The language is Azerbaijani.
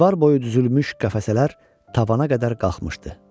Divar boyu düzülmüş qəfəsələr tavana qədər qalxmışdı.